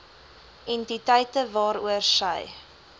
entiteite waaroor sy